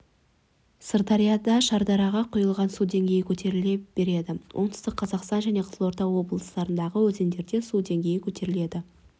сырдарияда шардараға құйылатын су деңгейі көтеріле береді оңтүстік қазақстан және қызылорда облыстарындағы өзендерде су деңгейі көтеріледі